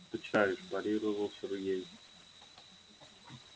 почитаешь парировал сергей